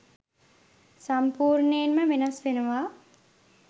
සම්පූර්ණයෙන්ම වෙනස් වෙනවා